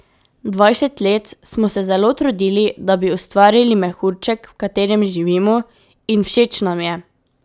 Dvajset let smo se zelo trudili, da bi ustvarili mehurček, v katerem živimo, in všeč nam je.